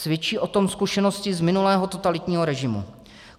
Svědčí o tom zkušenosti z minulého totalitního režimu.